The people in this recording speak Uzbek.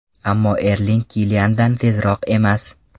Ammo Erling Kiliandan tezroq emas.